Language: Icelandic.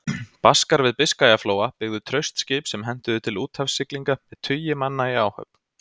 Baskar við Biskajaflóa byggðu traust skip sem hentuðu til úthafssiglinga, með tugi manna í áhöfn.